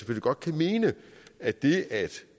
godt kan mene at det at